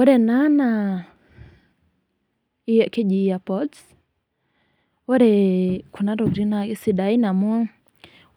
Ore ena naa keji ear pods, ore kuna tokiting na kesidain amu